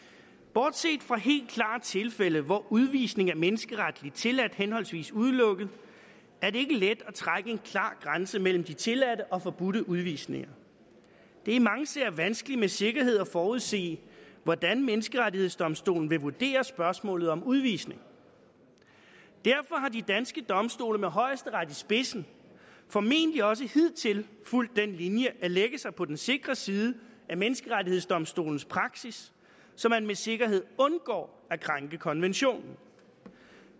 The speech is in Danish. bortset fra helt klare tilfælde hvor udvisning er menneskeretligt tilladt henholdsvis udelukket er det ikke let at trække en klar grænse mellem de tilladte og de forbudte udvisninger det er i mange sager vanskeligt med sikkerhed at forudse hvordan menneskerettighedsdomstolen vil vurdere spørgsmålet om udvisning derfor har de danske domstole med højesteret i spidsen formentlig også hidtil fulgt den linje at lægge sig på den sikre side af menneskerettighedsdomstolens praksis så man med sikkerhed undgår at krænke konventionen